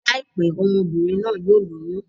Láìpẹ́, ọmọ-bìnrin náà yóò lóyún.